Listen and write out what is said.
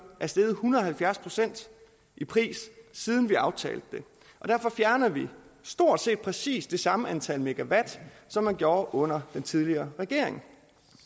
er steget en hundrede og halvfjerds procent i pris siden vi aftalte det derfor fjerner vi stort set præcis det samme antal megawatt som man gjorde under den tidligere regering